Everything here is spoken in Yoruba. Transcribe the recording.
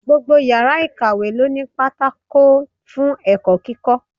Gbogbo yàrá ìkàwé ló ní pátákó fún ẹ̀kọ́ kíkọ́.